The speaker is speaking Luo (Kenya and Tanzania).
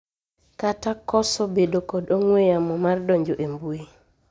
kata koso bedo kod ong'we yamo mar donjo e mbui